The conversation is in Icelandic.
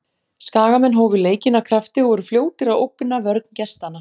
Skagamenn hófu leikinn af krafti og voru fljótir að ógna vörn gestanna.